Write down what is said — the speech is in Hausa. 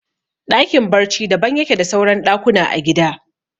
Ɗakin barci daban yake da suran ɗakuna a gida